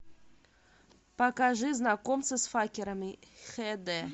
покажи знакомство с факерами хд